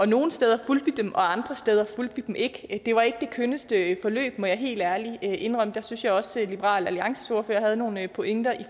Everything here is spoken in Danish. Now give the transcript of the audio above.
nogle steder fulgte vi dem og andre steder fulgte vi dem ikke det var ikke det kønneste forløb må jeg helt ærligt indrømme jeg synes også at liberal alliances ordfører havde nogle pointer